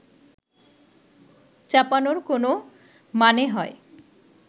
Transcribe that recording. চাপানোর কোনও মানে হয়